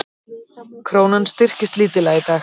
Krónan styrktist lítillega í dag